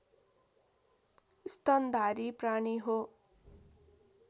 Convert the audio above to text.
स्तनधारी प्राणी हो